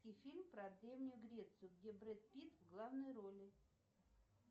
фильм про древнюю грецию где брэд питт в главной роли